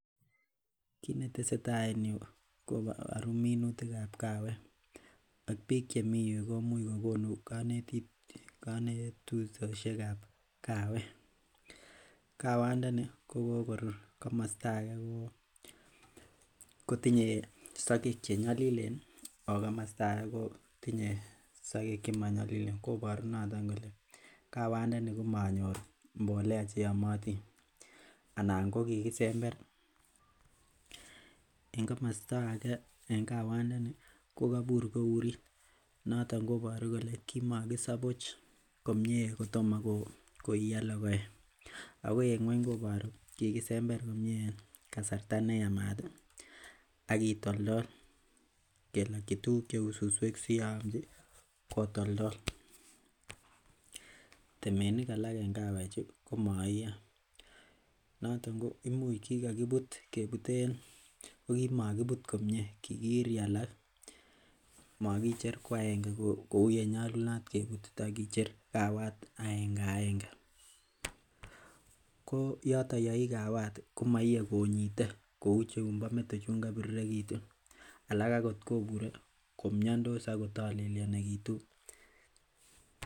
Kit netesetai en yuu koburu minutikab kawek ak biik chemii yuu komuch kokonu konetutosiek ab kawek kawandani kokokorur komosta age kotinye sogek chenyolilen ako komosta age kotinye sogek chemonyolilen koboru noton kole kawandani komonyor mbolea cheyomotin anan ko kikisember en komosta age en kawandani kokobur ko urit noton koboru kole kimokisabuch komie kotomo ko iyo logoek ako en ng'weny koboru kikisember komie kasarta neyamat ih ak kitoltol kelokyi tuguk cheu suswek si yeomji kotoltol, temenik alak en kawek chu komoiyo noton ko imuch kikokibut kebuten ko kimokibut komie kikiri alak, mokicher ko agenge kou yenyolunot kebutito kicher kawat agenge agenge ko yoton ko yei kawat ih komoie konyite kou chumbo meto chun kobirirekitu alak akot kobure ko miondos ako tolelyonekitu.